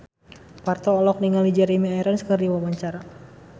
Parto olohok ningali Jeremy Irons keur diwawancara